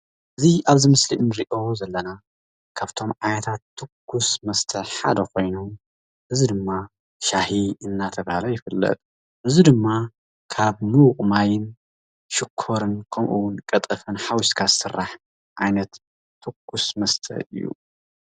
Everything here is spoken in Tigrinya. እዚ ኣብዚ ምስሊ ንሪኦ ዘለና ካብቶም ዓይነታት ትኩስ መስተ ሓደ ኮይኑ እዚ ድማ ሻሂ እናተባህለ ይፍለጥ፡፡ እዚ ድማ ካብ ምዉቕ ማይ፣ ሽኮር ከምኡውን ቀጠፍን ሓዊስካ ዝስራሕ ዓይነት ትኩስ መስተ እዩ፡፡